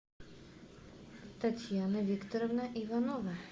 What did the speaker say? татьяна викторовна иванова